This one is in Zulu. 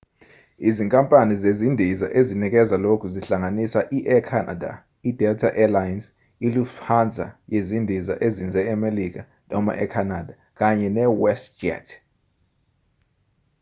izinkampani zezindiza ezinikeza lokhu zihlanganisa i-air canada i-delta air lines nelufthansa yezindiza ezinze emelika noma e-canada kanye ne-westjet